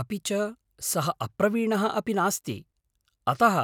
अपि च सः अप्रवीणः अपि नास्ति, अतः